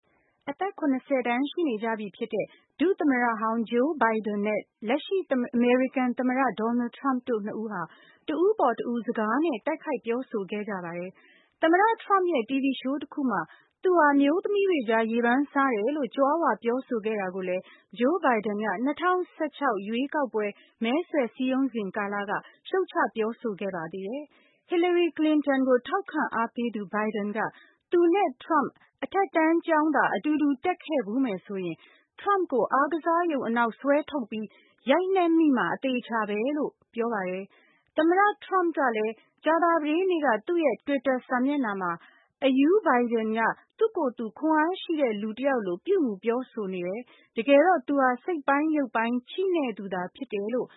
အသက် ၇၀ တန်းရှိနေကြပြီဖြစ်တဲ့ ဒုသမ္မတဟောင်း Joe Biden နဲ့ လက်ရှိအမေရိကန် သမ္မတ Donald Trump တို့ ၂ဦးဟာ တဦးအပေါ်တဦး စကားနဲ့ တိုက်ခိုက်ပြောဆို ခဲ့ကြပါတယ်၊၊ သမ္မတ Trump ရဲ့ TV show တခုမှာ သူဟာအမျိုးသမီးတွေကြား ရေပန်းစားတယ် လို့ကြွားဝါပြောဆိုတာကိုလည်း Joe Biden က ၂၀၁၆ ရွေးကောက်ပွဲ မဲဆွယ်စည်းရုံးစဉ်ကာလ က ရှုတ်ချပြောဆိုခဲ့ပါသေးတယ်၊၊ Hillary Clinton ကို ထောက်ခံအားပေးသူ Biden က သူနဲ့ Trump အထက်တန်းကျောင်းသာ အတူတူတက်ခဲ့မယ်ဆိုရင် Trump ကို အားကစားရုံအနောက်ဆွဲထုတ်ပြီး ရိုက်နှက်မိမှာအသေအချာပဲလို့ ပြောပါတယ်၊၊ အရူး Biden က သူ့ကိုယ်သူအားရှိတဲ့ လူတစ်ယောက်လို ပြုမူပြောဆိုနေတယ်၊၊ တကယ်တော့သူဟာ စိတ်ပိုင်း၊ ရုပ်ပိုင်းချိနဲ့ နေသူသာဖြစ်တယ်လို့